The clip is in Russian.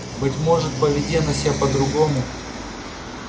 быть может поведи она себя по-другому